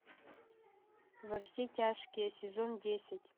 во все тяжкие сезон десять